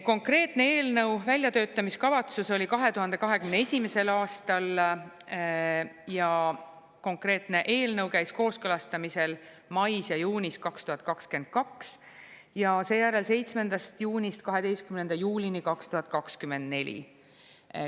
Konkreetse eelnõu väljatöötamiskavatsus oli 2021. aastal ja konkreetne eelnõu käis kooskõlastamisel mais ja juunis 2022 ja seejärel 7. juunist 12. juulini 2024.